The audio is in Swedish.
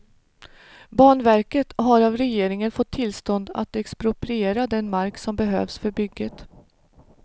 Banverket har av regeringen fått tillstånd att expropriera den mark som behövs för bygget.